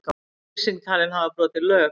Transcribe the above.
Lýsing talin hafa brotið lög